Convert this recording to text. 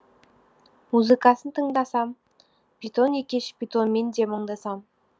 музыкасын тыңдасам бетон екеш бетонмен де мұңдасам